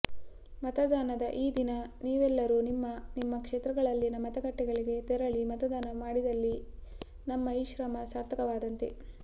ಮತದಾನದ ಈ ದಿನ ನೀವೆಲ್ಲರೂ ನಿಮ್ಮ ನಿಮ್ಮ ಕ್ಷೇತ್ರಗಳಲ್ಲಿನ ಮತಗಟ್ಟೆಗಳಿಗೆ ತೆರಳಿ ಮತದಾನ ಮಾಡಿದಲ್ಲಿ ನಮ್ಮ ಈ ಶ್ರಮ ಸಾರ್ಥಕವಾದಂತೆ